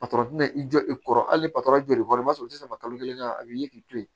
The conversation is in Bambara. tina i jɔ i kɔrɔ hali joli kɔrɔ u tɛ sɔn kalo kelen ka a b'i ye k'i to yen